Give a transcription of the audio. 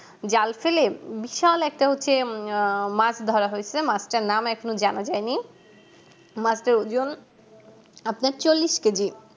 জাল ফেলে বিশাল একটা হচ্ছে আহ মাছ ধরা হয়েছে মাছটার নাম এখনো জানা যায়নি মাছের ওজন আপনার চল্লিশ কেজি